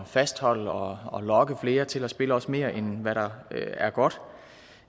fastholde og og lokke flere til at spille også mere end hvad der er godt